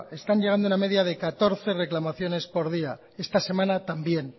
están llegando una media de catorce reclamaciones por día esta semana también